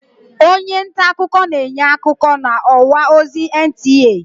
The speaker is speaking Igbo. Onye ntaakụkọ na-enye akụkọ n'ọwa ozi NTA.